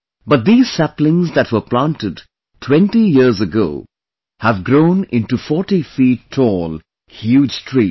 But these saplings that were planted 20 years ago have grown into 40 feet tall huge trees